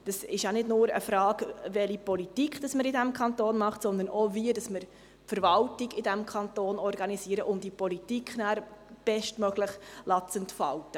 – Es geht nicht nur um die Frage, welche Politik man in diesem Kanton macht, sondern auch, wie wir die Verwaltung in diesem Kanton organisieren, damit sich diese Politik bestmöglich entfaltet.